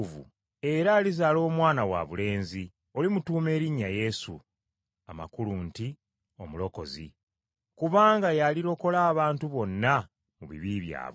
Era alizaala Omwana wabulenzi, olimutuuma erinnya Yesu, (amakulu nti, ‘Omulokozi’) kubanga y’alirokola abantu bonna mu bibi byabwe.”